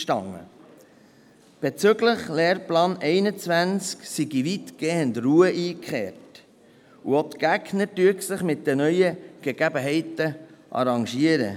Er sagte uns, bezüglich des Lehrplans 21 sei weitgehend Ruhe eingekehrt, und auch die Gegner würden sich mit den neuen Gegebenheiten arrangieren.